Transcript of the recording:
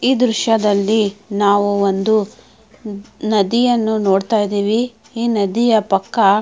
ಈ ದೃಶ್ಯದಲ್ಲಿ ನಾವು ಒಂದು ನದಿಯನ್ನು ನೋಡತ್ತಾ ಇದ್ದಿವಿ ಈ ನದಿಯ ಪಕ್ಕ.